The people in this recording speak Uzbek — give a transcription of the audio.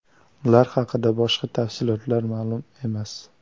Ular haqida boshqa tafsilotlar ma’lum emas.